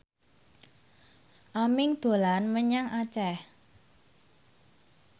Aming dolan menyang Aceh